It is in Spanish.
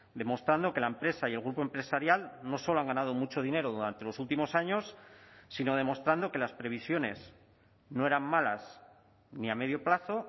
demostrando que la empresa y el grupo empresarial no solo han ganado mucho dinero durante los últimos años sino demostrando que las previsiones no eran malas ni a medio plazo